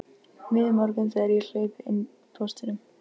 Miður morgunn þegar ég hleypi inn póstinum.